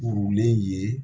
Kurunlen ye